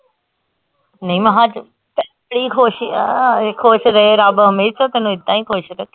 ਨੀ ਮੈ ਸੱਚ ਖੁਸ਼ ਆ ਏਦਾਂ ਈ ਖੁਸ਼ ਰਹੇ ਰੱਬ ਹਮੇਸ਼ਾ ਈ ਤੈਨੂੰ ਏਦਾਂ ਈ ਖੁਸ਼ ਰੱਖੇ